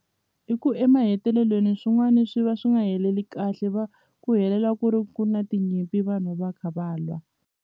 I ku emahetelelweni swin'wani swi va swi nga heleli kahle va ku helela ku ri ku na tinyimpi vanhu va kha va lwa.